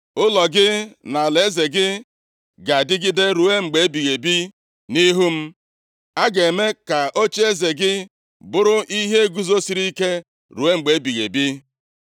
Ụlọ gị na alaeze gị ga-adịgide ruo mgbe ebighị ebi nʼihu m. A ga-eme ka ocheeze gị bụrụ ihe guzosiri ike ruo mgbe ebighị ebi.’ ”